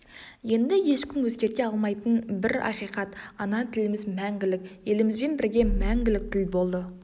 енді ешкім өзгерте алмайтын бір ақиқат ана тіліміз мәңгілік елімізбен бірге мәңгілік тіл болды